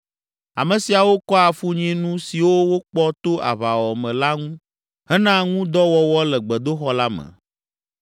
Ame siawo kɔa afunyinu siwo wokpɔ to aʋawɔwɔ me la ŋu hena ŋu dɔ wɔwɔ le gbedoxɔ la me.